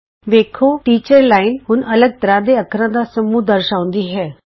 ਤੁਸੀਂ ਵੇਖੋਗੇ ਕਿ ਟੀਚਰ ਅਧਿਆਪਕ ਲਾਈਨ ਹੁਣ ਅੱਲਗ ਤਰ੍ਹਾਂ ਦੇ ਅੱਖਰਾਂ ਦਾ ਸਮੂਹ ਦਰਸਾਂਉਦੀ ਹੈ